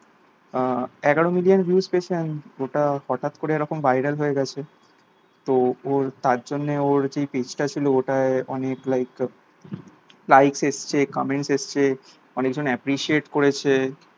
এগারো million views পেয়েছে and ওটা হঠাৎ করে এরকম viral হয়ে গাছে তো ওর তার জন্যে ওর যেই page টা ছিল ওটায় অনেক like like এসেছে comment এসেছে অনেকজন appreciate করেছে